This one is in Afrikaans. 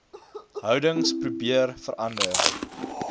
houdings probeer verander